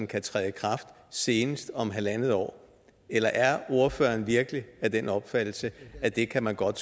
kan træde i kraft senest om halvandet år eller er ordføreren virkelig af den opfattelse at det kan man godt